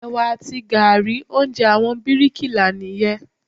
Ẹ̀wà àti gààrí, oúnjẹ àwọn bíríkì là nìyẹn.